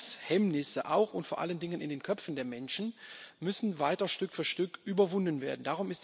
Grenzhemmnisse auch und vor allen Dingen in den Köpfen der Menschen müssen weiter Stück für Stück überwunden werden.